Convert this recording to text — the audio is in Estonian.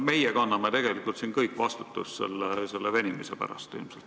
Meie kanname tegelikult siin kõik ilmselt selle venimise pärast vastutust.